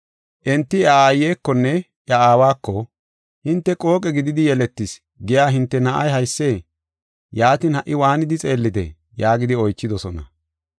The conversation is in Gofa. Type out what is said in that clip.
Enti iya aayiwunne iya aawako, “Hinte ‘Qooqe gididi yeletis’ giya hinte na7ay haysee? Yaatin, ha77i waanidi xeellidee?” yaagidi oychidosona.